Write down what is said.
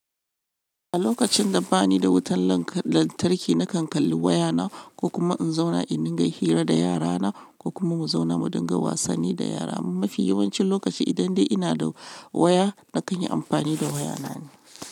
A lokacin da bani da wutan lantarki na kan kalli wayana ko kuma in zauna indin ga hira da yarana ko kuma mu zauna mu dinga wasanni da yara. Amma mafi yawancin lokaci idan dai ina da waya na kan yi amfani da wayana ne.